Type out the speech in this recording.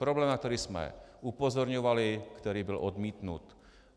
Problém, na který jsme upozorňovali, který byl odmítnut.